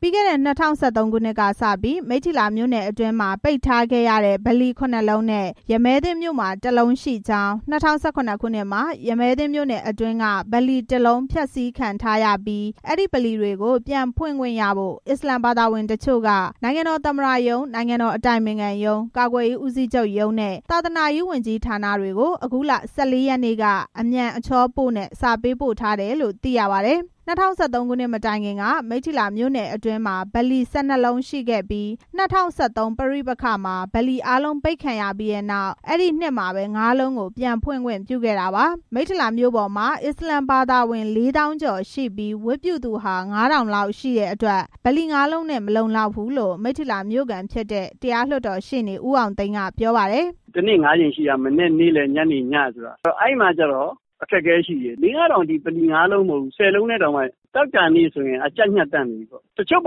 ပြီးခဲ့တဲ့ ၂၀၁၃ ခုနှစ်က စပြီး မိတ္ထီလာမြို့နယ်အတွင်းမှာ ပိတ်ထားခဲ့ရတဲ့ ဗလီ ခုနှစ်လုံးနဲ့ ရမည်းသင်းမြို့မှာ တစ်လုံး ရှိကြောင်း၊ ၂၀၀၇ ခုနှစ်မှာ ရမည်းသင်းမြို့နယ်အတွင်းက ဗလီတစ်လုံး ဖျက်ဆီးခံထားရပြီး ဒီဗလီတွေကို ပြန်ဖွင့်ခွင့် ရဖို့ အစ္စလာမ်ဘာသာဝင်တချို့က နိုင်ငံတော်သမ္မတရုံး၊ နိုင်ငံတော်အတိုင်ပင်ခံရုံး၊ ကာကွယ်ရေးဦးစီးချုပ်ရုံးနဲ့ သာသနာရေးဝန်ကြီးဌာနတွေကို အခုလ ၁၄ ရက်နေ့က အမြန်အချောပို့နဲ့ စာပေးပို့ထားတယ်လို့ သိရပါတယ်။ ၂၀၁၃ ခုနှစ်မတိုင်ခင်က မိထ္ထီလာမြို့နယ်အတွင်းမှာ ဗလီ ၁၂ လုံးရှိခဲ့ပြီး ၂၀၁၃ ပဋိပက္ခမှာ ဗလီအားလုံးပိတ်ခံ ရပြီးနောက် အဲဒီနှစ်မှာပဲ ငါးလုံးကို ပြန်ဖွင့်ခွင့်ပြုခဲ့တာပါ။ မိတ္ထီလာမြို့ပေါ်မှာ အစ္စလာမ်ဘာသာဝင် ၄ သောင်းကျော်ရှိပြီး ဝတ်ပြုကြသူဟာ ၅၀၀၀ လောက် ရှိတဲ့အတွက် ဗလီ ငါးလုံးနဲ့ မလုံလောက်ဘူးလို့ မိတ္ထီလာမြို့ခံဖြစ်တဲ့ တရားလွှတ်တော်ရှေ့နေ ဦးအောင်သိန်းက ပြောပါတယ်။ “တနေ့ငါးကြိမ်ရှိတယ်။ မနက်၊ နေ့လယ်၊ ည အဲဒီအခါ ကျနော်တို့မှာ အခက်အခဲရှိတယ်။ လေး၊ ငါးထောင် တစ်နေ့ ဗလီ ငါးလုံးမပြောနဲ့ ဆယ်လုံးတောင် ကျပ်နေတာ။ တချို့ဗ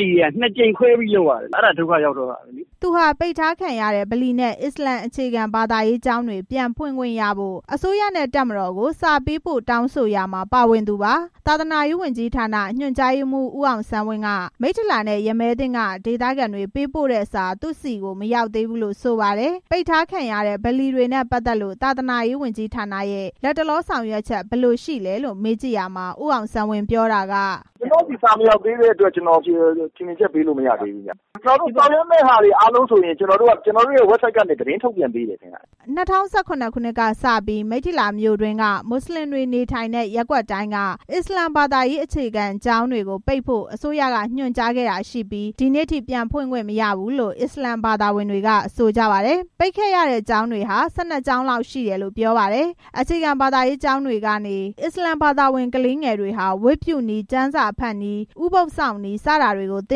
လီတွေဟာ နှစ်ကြိမ်ခွဲပြီးလုပ်ရတယ်။ အဲဒါ ဒုက္ခရောက်တော့တာပဲ။” သူဟာ ပိတ်ထားခံရတဲ့ ဗလီနဲ့ အစ္စလာမ် အခြေခံဘာသာရေးကျောင်းတွေ ပြန်ဖွင့်ခွင့်ရဖို့ အစိုးရနဲ့ တပ်မတော်ကို စာပေးပို့တောင်းဆိုရာမှာ ပါဝင်သူပါ။ သာသနာရေးဝန်ကြီးဌာန၊ ညွှန်ကြားရေးမှူး ဦးအောင်ဆန်းဝင်းက မိတ္ထီလာနဲ့ ရမည်းသင်းက ဒေသခံတွေ ပေးပို့တဲ့စာ သူ့ဆီ မရောက်သေးဘူးလို့ ဆိုပါတယ်။ ပိတ်ထားခံရတဲ့ ဗလီတွေနဲ့ ပတ်သက်လို့ သာသနာရေးဝန်ကြီးဌာနက လက်တလောဆောင်ရွက်ချက် ဘယ်လိုရှိလဲလို့ မေးကြည့်ရာမှာ ဦးအောင်ဆန်းဝင်း ပြောတာက “ကျနော့်ဆီ စာမရောက်သေးတဲ့အတွက် ထင်မြင်ချက်ပေးလို့မရပါဘူး။ ကျနော်တို့ ဆောင်ရွက်မယ့်အရာတွေ ဆိုရင် ဝက်ဘ်ဆိုဒ်ကနေ သတင်းထုတ်ပြန်ပေးပါတယ်။” ၂၀၁၇ ခုနှစ်ကစပြီး မိတ္ထီလာမြို့တွင်းက မွတ်စလင်တွေနေထိုင်တဲ့ ရပ်ကွက်တိုင်းက အစ္စလာမ်ဘာသာရေး အခြေခံကျောင်းတွေကို ပိတ်ဖို့ အစိုးရကညွန်ကြားခဲ့တာဖြစ်ပြီး ဒီနေ့အထိ ပြန်ဖွင့်ခွင့်မရဘူးလို့ အစ္စလာမ် ဘာသာဝင်တွေက ဆိုပါတယ်။ ပိတ်ခဲ့ရတဲ့ကျောင်းတွေဟာ ၁၂ ကျောင်းလောက်ရှိတယ်လို့ ဆိုပါတယ်။ အခြေခံဘာသာရေးကျောင်းတွေကနေ အစ္စလာမ်ဘာသာဝင်ကလေးငယ်တွေဟာ ဝတ်ပြုနည်း၊ ကျမ်းစာဖတ်နည်း၊ ဥပုဒ်စောင့်နည်း စတာတွေကို သ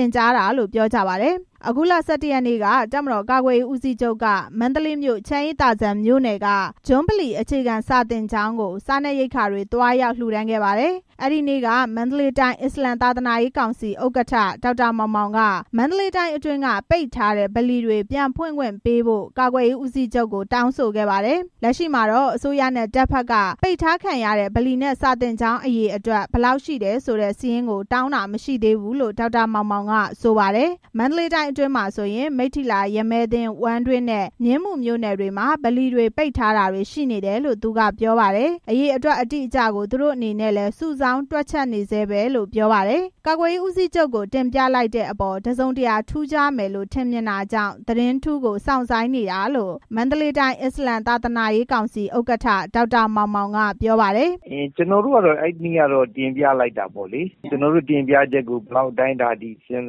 င်ကြားတာလို့ ပြောပါတယ်။ အခုလ ၁၁ ရက်နေ့က တပ်မတော်ကာကွယ်ရေးဦးစီးချုပ်က မန္တလေးမြို့၊ ချမ်းအေးသာစံမြို့နယ်က ဂျွန်းဗလီ အခြေခံစာသင်ကျောင်းကို စားနပ်ရိက္ခာတွေ သွားရောက်လှူဒါန်းခဲ့ပါတယ်။ အဲ့ဒီနေ့က မန္တလေးတိုင်း အစ္စလာမ် သာသနာရေးကောင်စီ ဥက္ကဋ္ဌ ဒေါက်တာမောင်မောင်က မန္တလေးတိုင်းအတွင်းက ပိတ်ထားတဲ့ ဗလီတွေကို ပြန်ဖွင့်ခွင့်ပေးဖို့ ကာကွယ်ရေးဦးစီးချုပ်ကို တောင်းဆိုခဲ့တာပါ။ လက်ရှိမှာတော့ အစိုးရနဲ့ တပ်ဘက်က ပိတ်ထားခံရတဲ့ ဗလီနဲ့ စာသင်ကျောင်းအရေအတွက် ဘယ်လောက် ရှိတယ်ဆိုတဲ့ စာရင်းကို တောင်းတာမရှိသေးဘူးလို့ ဒေါက်တာမောင်မောင်က ဆိုပါတယ်။ မန္တလေးတိုင်းအတွင်းမှာ ဆိုရင် မိတ္ထီလာ၊ ရမည်းသင်း၊ ဝမ်းတွင်းနဲ့ မြင်းမူမြို့နယ်တွေမှာ ဗလီတွေ ပိတ်ထားတာတွေရှိနေတယ်လို့ သူက ပြောပါတယ်။ အရေအတွက် အတိအကျကို သူတို့အနေနဲ့လည်း စုဆောင်းတွက်ချက်နေဆဲပဲလို့ ပြောပါတယ်။ ကာကွယ်ရေးဦးစီးချုပ်ကို တင်ပြလိုက်တဲ့အပေါ် တစ်စုံတစ်ရာထူးခြားမယ်လို့ ထင်မြင်တာကြောင့် သတင်းထူးကို စောင့်ဆိုင်းနေတာလို့ မန္တလေးတိုင်း အစ္စလာမ်သာသနာရေးကောင်စီ ဥက္ကဋ္ဌ ဒေါက်တာမောင်မောင် က ပြောပါတယ်။ “ကျနော်တို့ကတော့ အဲဒီနေ့ကတော့ တင်ပြလိုက်တာပေါ့လေ။ ကျနော်တို့တင်ပြချက်ကို ဘယ်လောက် အတိုင်းအတာအထိ စဉ်း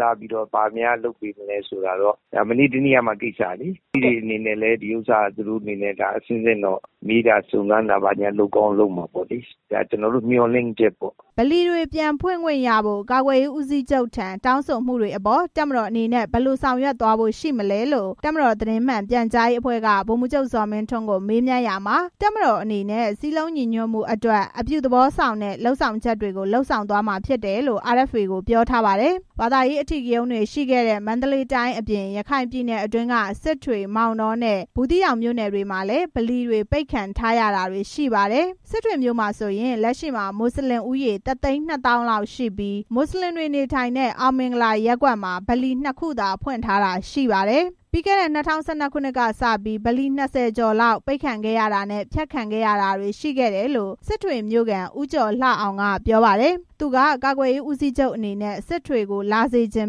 စားပြီး ဘာများလုပ်ပေးနိုင်မလဲဆိုတာကတော့ ဒါမနေ့တနေ့ကမှကိစ္စလေ။ လူကြီးတွေအနေနဲ့လည်း သူတို့အနေနဲ့ အဆင့်ဆင့်တော့ မေးတာစုံစမ်းတာလုပ်မှာပေါ့။ ဒါကျနော်တို့ မျှော်လင့်ချက်ပေါ့။” ဗလီတွေပြန်ဖွင့်ခွင့်ရဖို့ ကာကွယ်ရေးဦးစီးချုပ်ထံ တောင်းဆိုမှုတွေအပေါ် တပ်မတော်အနေနဲ့ ဘယ်လိုဆောင် ရွက်သွားဖို့ရှိမလဲလို့ တပ်မတော်သတင်းမှန်ပြန်ကြားရေးအဖွဲ့က ဗိုလ်မှူးချုပ် ဇော်မင်းထွန်းကို မေးမြန်းရာမှာ တပ်မတော်အနေနဲ့ စည်းလုံးညီညွတ်မှုအတွက် အပြုသဘောဆောင်တဲ့ လုပ်ဆောင်ချက်တွေကို လုပ်ဆောင်သွား မှာဖြစ်တယ်လို့ RFA ကိုပြောထားပါတယ်။ ဘာသာရေးအထိကရုဏ်းတွေရှိခဲ့တဲ့ မန္တလေးတိုင်းအပြင် ရခိုင်ပြည်နယ်အတွင်းက စစ်တွေ၊ မောင်တောနဲ့ ဘူးသီးတောင်မြို့နယ်တွေမှာလည်း ဗလီတွေ ပိတ်ခံထားရတာတွေရှိပါတယ်။ စစ်တွေမြို့မှာဆိုရင် လက်ရှိမှာ မွတ်စလင် ၁ သိန်း ၂ နှစ်သောင်းလောက်ရှိပြီး မွတ်စလင်တွေ နေထိုင်တဲ့ အောင်မင်္ဂလာရပ်ကွက်မှာ ဗလီနှစ်ခုသာဖွင့်ထားတာရှိပါတယ်။ ပြီးခဲ့တဲ့ ၂၀၁၂ ကစပြီး ဗလီ ၂၀ ကျော်လောက် ပိတ်ခဲ့ရတာနဲ့ ဖျက်ခံခဲ့ရတာတွေရှိခဲ့တယ်လို့ စစ်တွေမြို့ခံ ဦးကျော်လှအောင် က ပြောပါတယ်။ သူက ကာကွယ်ရေးဦးစီးချုပ်အနေနဲ့ စစ်တွေကို လာစေချင်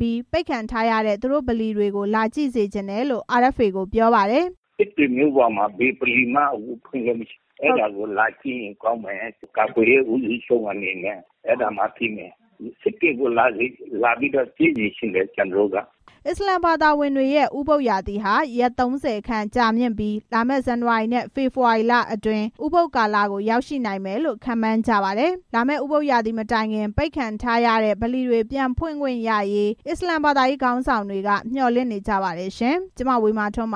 ပြီး ပိတ်ခံထားရတဲ့ သူတို့ဗလီတွေကို လာကြည့်စေ ချင်တယ်လို့ RFA ကို ပြောပါတယ်။ “စစ်တွေမြို့ပေါ်မှာ ဘယ်ဗလီမှ ဖွင့်ခွင့်မရဘူး။ အဲဒါကို လာကြည့်ရင်ကောင်းမယ်။ ကာကွယ်ရေးဦးစီးချုပ်အနေနဲ့ အဲဒါမှသိမယ်။ စစ်တွေကို လာပြီးတော့ ကြည့်စေချင်တယ် ” အစ္စလာမ်ဘာသာဝင်တွေရဲ့ ဥပုဒ်ရာသီဟာ ရက် ၃၀ ခန့်ကြာမြင့်ပြီး လာမယ့် ဇန်နဝါရီနဲ့ ဖေဖော်ဝါရီလအတွင်း ဥပုဒ်ကာလကို ရောက်ရှိနိုင်တယ်လို့ ခန့်မှန်းကြပါတယ်။ လာမယ့် ဥပုဒ်ရာသီမတိုင်ခင် ပိတ်ထားရတဲ့ ဗလီတွေ ပြန်ဖွင့်ခွင့်ရရေး အစ္စလာမ်ဘာရေးခေါင်းဆောင်တွေက မျှော်လင့်နေကြပါတယ်။ (RFA သတင်းထောက် မဝေမာထွန်း